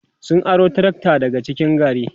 sun aro trakta daga cikin gari